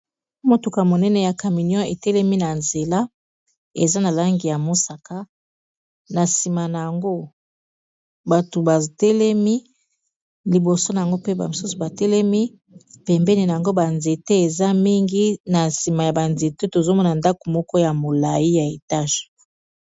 motuka monene ya caminion etelemi na nzela eza na langi ya mosaka na nsima na yango bato batelemi liboso na yango pe bamosusu batelemi pembeni na yango banzete eza mingi na nsima ya banzete tozomona ndako moko ya molai ya etage